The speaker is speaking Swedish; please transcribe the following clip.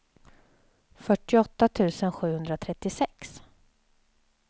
fyrtioåtta tusen sjuhundratrettiosex